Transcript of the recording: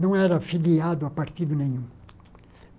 Não era filiado a partido nenhum.